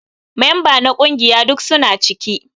Memba na kungiƴa duk suna ciki.